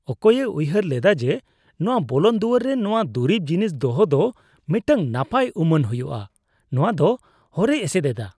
ᱚᱠᱚᱭᱮ ᱩᱭᱦᱟᱹᱨ ᱞᱮᱫᱟ ᱡᱮ ᱱᱚᱶᱟ ᱵᱚᱞᱚᱱ ᱫᱩᱣᱟᱹᱨ ᱨᱮ ᱱᱚᱶᱟ ᱫᱩᱨᱤᱵ ᱡᱤᱱᱤᱥ ᱫᱚᱦᱚ ᱫᱚ ᱢᱤᱫᱴᱟᱝ ᱱᱟᱯᱟᱭ ᱩᱢᱟᱹᱱ ᱦᱩᱭᱩᱜᱼᱟ ? ᱱᱚᱣᱟᱫᱚ ᱦᱚᱨᱮ ᱮᱥᱮᱫ ᱮᱫᱟ ᱾